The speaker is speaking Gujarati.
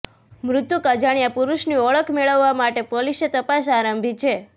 મૃતક અજાણ્યા પુરૃષની ઓળખ મેળવવા માટે પોલીસે તપાસ આરંભી છે